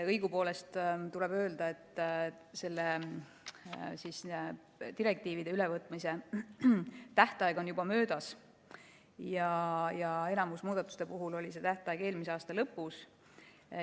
Õigupoolest tuleb öelda, et nende direktiivide ülevõtmise tähtaeg on juba möödas ja enamiku muudatuste puhul oli tähtaeg eelmise aasta lõpus.